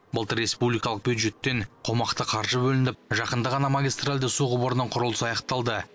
былтыр республикалық бюджеттен қомақты қаржы бөлініп жақында ғана магистральді су құбырының құрылысы аяқталды